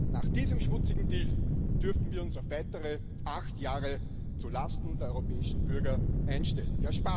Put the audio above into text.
Nach diesem schmutzigen Deal dürfen wir uns auf weitere acht Jahre zu Lasten der europäischen Bürger einstellen.